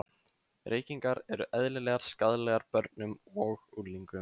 Reykingar eru eðlilegar skaðlegar börnum og unglingum.